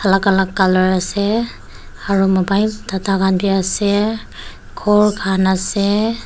Alak alak colour ase aro mobile tata khan bhi ase ghor khan ase--